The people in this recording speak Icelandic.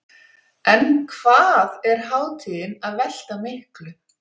En hvað er hátíðin að velta miklu?